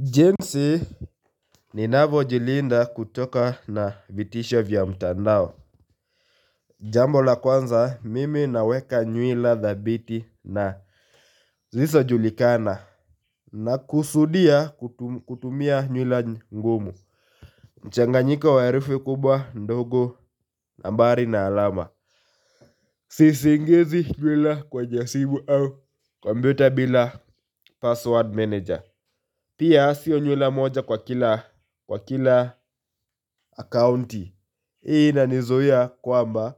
Jinsi ninavyojilinda kutokana na vitisho vya mtandao. Jambo la kwanza mimi naweka nywila thabiti na zisizojulikana. Nakusudia kutumia nywila ngumu mchanganyiko wa herufi kubwa, ndogo nambari na alama. Siingizi nywila kwa jaribu au kompyuta bila password manager. Pia siyo nywila moja kwa kila akaunti. Hii inanizuia kwamba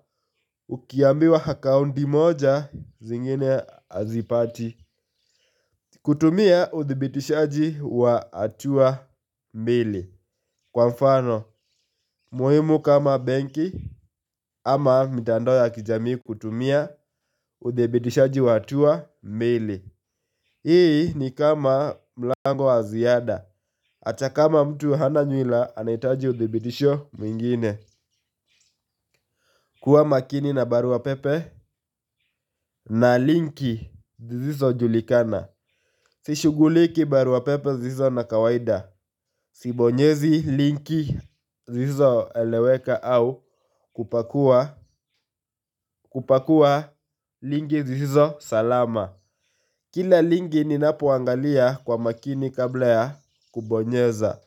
ukiambiwa akaunti moja, zingine hazipati. Kutumia uthibitishaji wa hatua mbili, kwa mfano, muhimu kama benki. Ama mitandao ya kijamii, kutumia uthibitishaji wa hatua mbili. Hii ni kama mlango wa ziada, hata kama mtu hana nywila, anahitaji uthibitisho mwingine. Kuwa makini na barua pepe na linki zisizojulikana. Sishuguliki barua pepe zisizo za kawaida. Sibonyezi linki zisizoeleweka au kupakua, kupakua. Linki hizo salama. Kila linki ninapoangalia kwa makini kabla ya kubonyeza.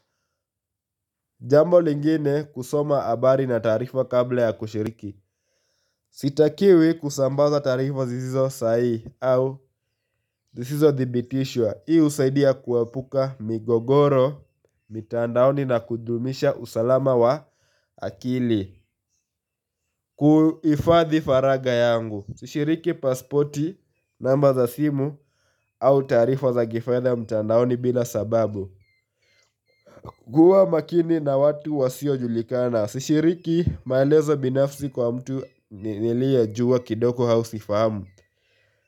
Jambo lingine kusoma habari na taarifa kabla ya kushiriki. Sitakiwi kusambaza taarifa zisizo sahihi au zisizothibitishwa. Hii husaidia kuepuka migogoro mitandaoni na kudumisha usalama wa akili. Kuhifadhi faragha yangu. Sishiriki pasipoti, namba za simu au taarifa za kifedha mitandaoni bila sababu. Kuwa makini na watu wasiojulikana. Sishiriki maelezo binafsi kwa mtu niliyejua kidogo au sifahamu.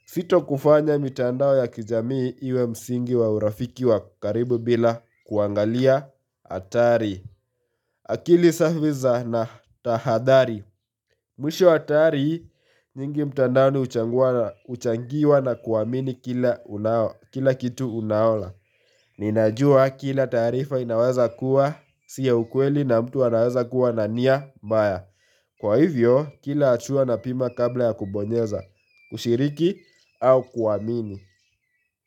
Sitafanya mitandao ya kijamii iwe msingi wa urafiki wa karibu bila kuangalia athari. Akili zangu na tahadhari. Mwisho, hatari nyingi za mtandao huchangiwa na kuamini kila kitu unaona. Ninajua kila taarifa inaweza kuwa si ya ukweli na mtu anaweza kuwa na nia mbaya. Kwa hivyo, kila hatua napima kabla ya kubonyeza, kushiriki au kuamini.